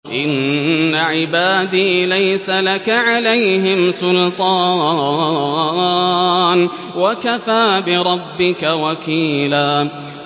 إِنَّ عِبَادِي لَيْسَ لَكَ عَلَيْهِمْ سُلْطَانٌ ۚ وَكَفَىٰ بِرَبِّكَ وَكِيلًا